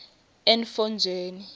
entfonjeni